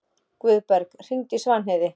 Guðberg, hringdu í Svanheiði.